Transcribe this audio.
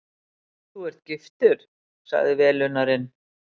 Þú ert giftur? sagði velunnarinn.